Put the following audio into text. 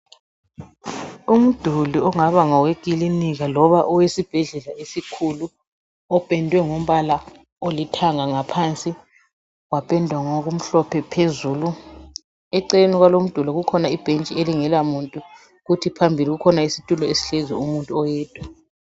Umduli ongaba ngowekilinika loba esibhedlela esikhulu opendwe ngombala olithanga ngaphansi wapendwa ngokumhlophe phezulu eceleni kwalowo umduli kukhona ibhentshi elingelamuntu kuthi phambili kukhona isitulo esihlezi umuntu oyedwa.